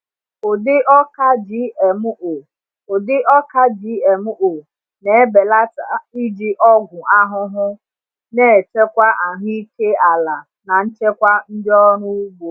Ụdị ọka GMO Ụdị ọka GMO na-ebelata iji ọgwụ ahụhụ, na-echekwa ahụike ala na nchekwa ndị ọrụ ugbo.